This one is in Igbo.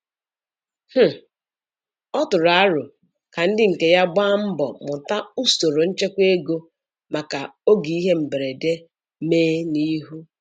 um Ọ tụrụ arọ ka ndị nke ya gbaa mbọ mụta usoro nchekwa ego maka oge ihe mberede me n'ihu.